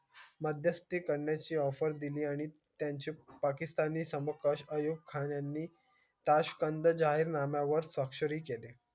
मध्यस्थी करण्याची offer दिली आणि त्यांचे पाकिस्तानी समकक्ष आयोग खान यांनी ताश्कंद जाहीरनाम्या वर स्वाक्षरी केली.